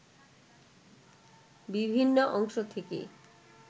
বিভিন্ন অংশ থেকে